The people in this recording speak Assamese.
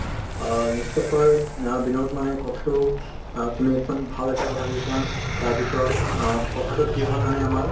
অ নিশ্চয় কৈ নহয় বিনোদ মানে কথাটো অ তুমি ভাল এটা কথা কৈছা । তাৰ পিছত অ কথাটো কি হয় মানে আমাৰ